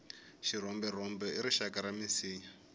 xirhomberhombe i rixaka ra minsinya